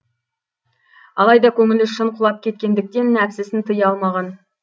алайда көңілі шын құлап кеткендіктен нәпсісін тыя алмаған